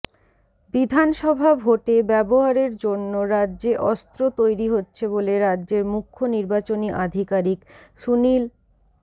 বিধানসভা ভোটে ব্যবহারের জন্য রাজ্যে অস্ত্র তৈরি হচ্ছে বলে রাজ্যের মুখ্য নির্বাচনী আধিকারিক সুনীল